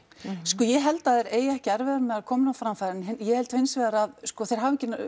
sko ég held að þeir eigi ekki erfiðara með að koma henni á framfæri en ég held hins vegar að sko þeir hafi ekki